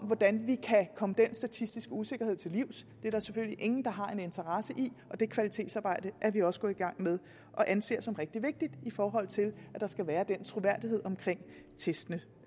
hvordan vi kan komme den statistiske usikkerhed til livs det er der selvfølgelig ingen der har en interesse i og det kvalitetsarbejde er vi også gået i gang med og anser som rigtig vigtigt i forhold til at der skal være den troværdighed omkring testene